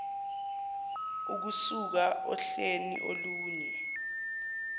ukusuka ohleni olunye